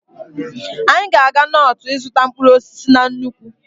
Anyị ga-aga Notu ịzụta mkpụrụ osisi na nnukwu.